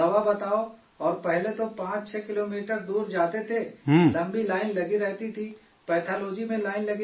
اور پہلے تو 65 کلومیٹر دور جاتے تھے، لمبی لائن لگی رہتی تھی، پیتھالوجی میں لائن لگی رہتی تھی